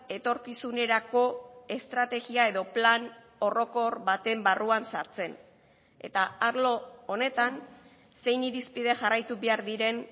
etorkizunerako estrategia edo plan orokor baten barruan sartzen eta arlo honetan zein irizpide jarraitu behar diren